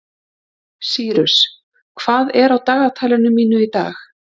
Sýrus, hvað er á dagatalinu mínu í dag?